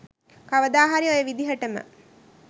කවදාහරි ඔය විදිහටම